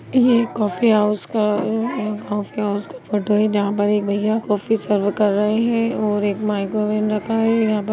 ये coffee house का अं कोफी हाउस का फोटो है| जहाॅं पर एक भईया काफी सर्व कर रहे हैं और एक माइक्रोवेव रखा है। यहाॅं पे --